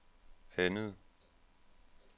andet